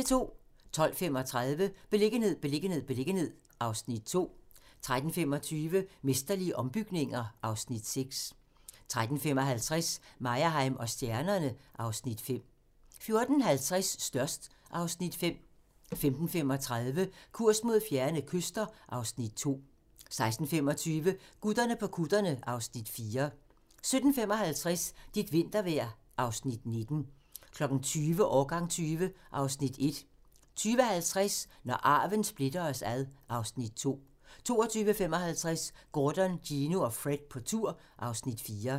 12:35: Beliggenhed, beliggenhed, beliggenhed (Afs. 2) 13:25: Mesterlige ombygninger (Afs. 6) 13:55: Meyerheim & stjernerne (Afs. 5) 14:50: Størst (Afs. 5) 15:35: Kurs mod fjerne kyster (Afs. 2) 16:25: Gutterne på kutterne (Afs. 4) 17:55: Dit vintervejr (Afs. 19) 20:00: Årgang 20 (Afs. 1) 20:50: Når arven splitter os (Afs. 2) 22:55: Gordon, Gino og Fred på tur (Afs. 4)